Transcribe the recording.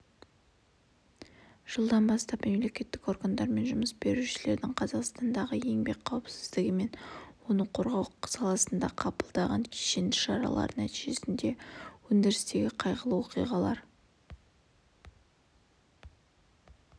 жылдан бастап мемлекеттік органдар мен жұмыс берушілердің қазақстандағы еңбек қауіпсіздігі мен оны қорғау саласындағы қабылдаған кешенді шаралары нәтижесінде өндірістегі қайғылы оқиғалар